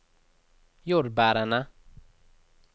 jordbærene